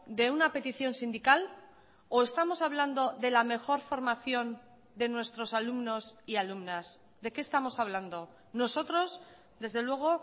de una petición sindical o estamos hablando de la mejor formación de nuestros alumnos y alumnas de qué estamos hablando nosotros desde luego